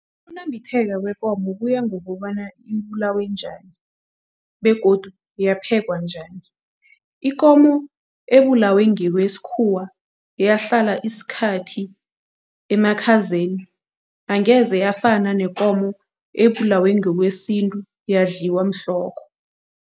Ukunambitheka kwekomo kuya ngokobana ibulawe njani begodu yaphekwa njani. Ikomo ebulawe ngokwesikhuwa, yahlala isikhathi emakhazeni angeze yafana nekomo ebulawe ngokwesintu yadliwa mhlokho.